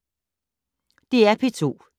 DR P2